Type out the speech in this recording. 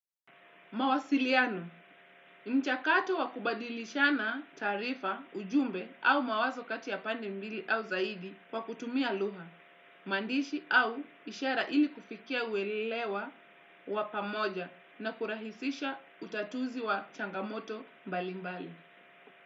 Mawasiliano, nimchakato wakubadilishana taarifa ujumbe au mawazo kati ya pande mbili au zaidi kwa kutumia lugha, maandishi au ishara ili kufikia uelelewa wa pamoja na kurahisisha utatuzi wa changamoto mbali mbali.